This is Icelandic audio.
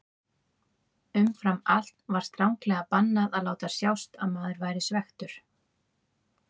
Umfram allt var stranglega bannað að láta sjást að maður væri svekktur.